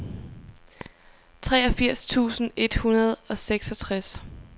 treogfirs tusind et hundrede og seksogtres